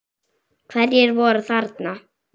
Hverjir voru þarna?